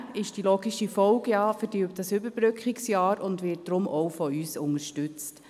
Auch dieser ist die logische Folge des Überbrückungsjahrs und wird deshalb auch von uns unterstützt.